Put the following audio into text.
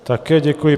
Také děkuji.